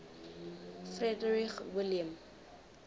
frederick william